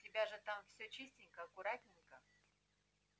тебя же там всё чистенько аккуратненько